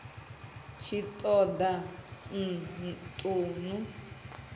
tshi ṱo ḓa u ṱun